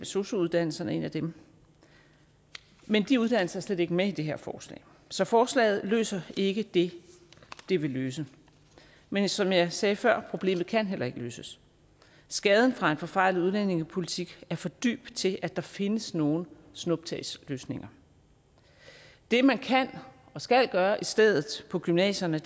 sosu uddannelserne en af dem men de uddannelser er slet ikke med i det her forslag så forslaget løser ikke det det vil løse men som jeg sagde før problemet kan heller ikke løses skaden fra en forfejlet udlændingepolitik er for dyb til at der findes nogen snuptagsløsninger det man kan og skal gøre i stedet på gymnasierne